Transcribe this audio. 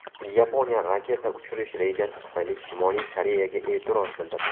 Yaponiya raketa uchirish rejasi tufayli Shimoliy Koreyaga e’tiroz bildirdi.